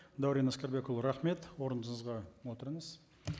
дәурен әскербекұлы рахмет орныңызға отырыңыз